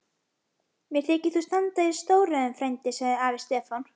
Mér þykir þú standa í stórræðum frændi, sagði afi Stefán.